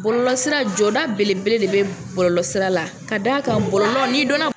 Bɔlɔlɔsira jɔda belebele de bɛ bɔlɔlɔsira la ka d'a kan bɔlɔlɔ n'i dɔnna